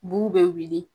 Bu bɛ wili